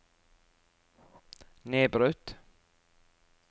nedbrutt